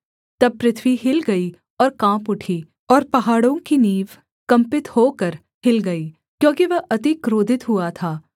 तब पृथ्वी हिल गई और काँप उठी और पहाड़ों की नींव कँपित होकर हिल गई क्योंकि वह अति क्रोधित हुआ था